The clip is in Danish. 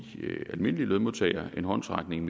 almindelige lønmodtagere en håndsrækning